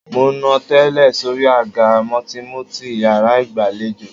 Mo nà tẹ́ẹ́rẹ́ sóri àga mùtìmùtì yàrá ìgbàlejò.